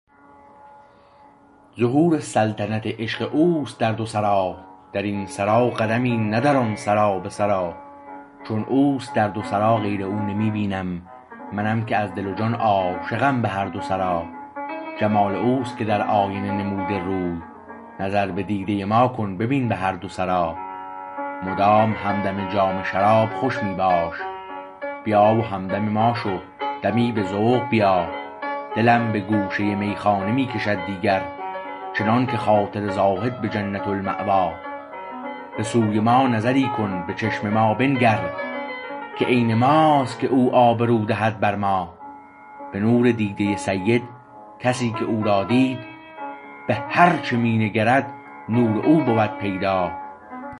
ظهور سلطنت عشق اوست در دو سرا درین سرا قدمی نه در آن سرا به سرآ چو اوست در دو سرا غیر او نمی بینم منم که از دل و جان عاشقم به هر دو سرا جمال اوست که در آینه نموده روی نظر به دیده ما کن ببین به هر دو سرا مدام همدم جام شراب خوش می باش بیا و همدم ما شو دمی به ذوق و بیا دلم به گوشه میخانه می کشد دیگر چنانکه خاطر زاهد به جنت المأوا به سوی ما نظری کن به چشم ما بنگر که عین ماست که او آبرو دهد بر ما به نور دیده سید کسی که او را دید به هر چه می نگرد نور او بود پیدا